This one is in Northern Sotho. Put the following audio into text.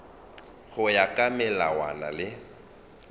go ya ka melawana le